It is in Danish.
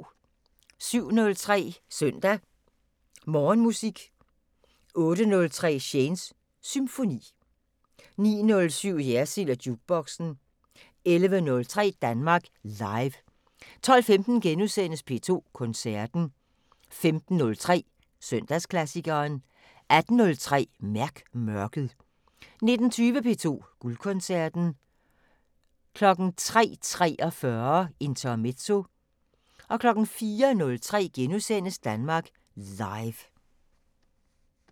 07:03: Søndag Morgenmusik 08:03: Shanes Symfoni 09:07: Jersild & Jukeboxen 11:03: Danmark Live 12:15: P2 Koncerten * 15:03: Søndagsklassikeren 18:03: Mærk mørket 19:20: P2 Guldkoncerten 03:43: Intermezzo 04:03: Danmark Live *